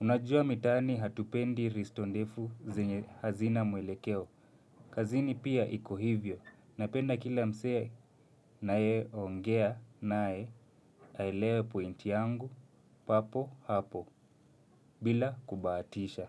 Unajua mitaani hatupendi risto ndefu zenye hazina mwelekeo. Kazini pia iko hivyo. Napenda kila msee naye ongea naye aelewe pointi yangu papo hapo bila kubahatisha.